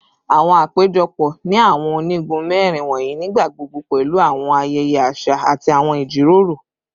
Awọn apejọpọ ni awọn onigun mẹrin wọnyi nigbagbogbo pẹlu awọn ayẹyẹ aṣa ati awọn ijiroro